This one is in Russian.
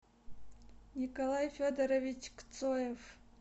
николай федорович кцоев